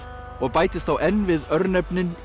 og bætist þá enn við örnefnin í